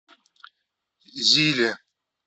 зиле